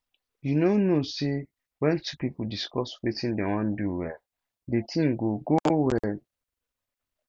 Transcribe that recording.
you no know say when two people discuss wetin dey wan do well the thing go go go go well